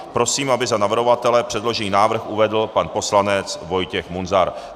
Prosím, aby za navrhovatele předložený návrh uvedl pan poslanec Vojtěch Munzar.